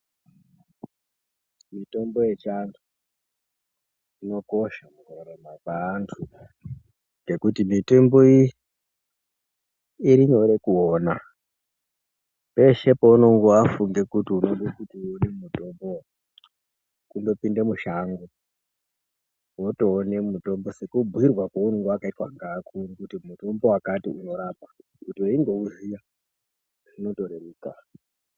Mitombo yechiantu, inokosha mukurarama kweantu ngekuti mitengo irinyore kuwona, peshe paunongo wafunge kuti unode mutombo kungopinde mushango wotoone mutombo sekubhuyirwa kawaunenge wakaitangevakuru kuti mutombo wakati unorapa kutiunge uyiwuziva zvinotoreruka.